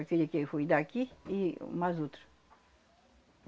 Aquele que foi daqui e mais outro.